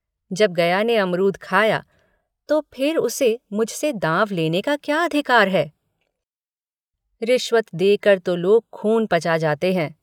जब गया ने अमरूद खाया तो फिर उसे मुझसे दाँव लेने का क्या अधिकार है रिशवत देकर तो लोग ख़ून पचा जाते हैं।